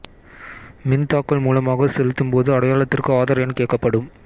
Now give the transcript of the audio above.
மின் தாக்கல் மூலமாக செலுத்தும் போது அடையாளத்திற்கு ஆதார் எண் கேட்கப்படும்